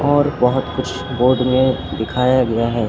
और बहोत कुछ बोर्ड में दिखाया गया है।